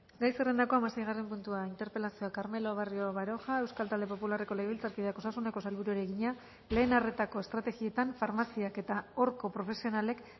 gai zerrendako hamaseigarren puntua interpelazioa carmelo barrio baroja euskal talde popularreko legebiltzarkideak osasuneko sailburuari egina lehen arretako estrategietan farmaziak eta horko profesionalek